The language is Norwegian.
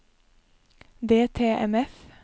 DTMF